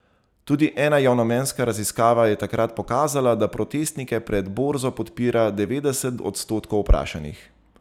Tudi ena javnomnenjska raziskava je takrat pokazala, da protestnike pred Borzo podpira devetdeset odstotkov vprašanih.